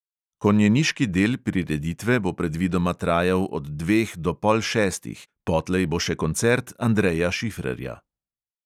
Konjeniški del prireditve bo predvidoma trajal od dveh do pol šestih, potlej bo še koncert andreja šifrerja.